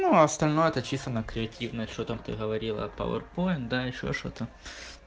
ну а остальное это чисто на креативность что там ты говорила пауэрпоинт да ещё что-то